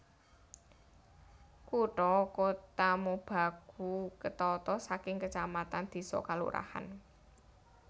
Kutha Kotamobagu ketata saking kacamatan désa kalurahan